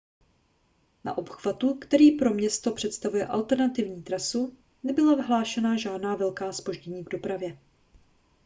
na obchvatu který pro město představuje alternativní trasu nebyla hlášena žádná velká zpoždění v dopravě